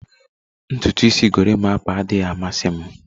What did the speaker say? Ntutu isi gorimapa adịghị amasị m